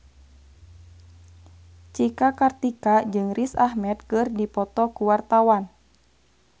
Cika Kartika jeung Riz Ahmed keur dipoto ku wartawan